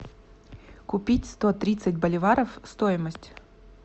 купить сто тридцать боливаров стоимость